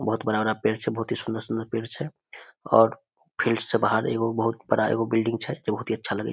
बहुत बड़ा-बड़ा पेड़ छै बहुत ही सुंदर-सुंदर पेड़ छै और फील्ड से बाहर एगो बहुत बड़ा एगो बिल्डिंग छै जे बहुत ही अच्छा लगए --